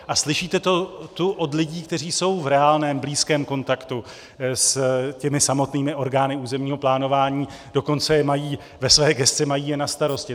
A slyšíte to tu od lidí, kteří jsou v reálném, blízkém kontaktu s těmi samotnými orgány územního plánování, dokonce ve své gesci je mají na starosti.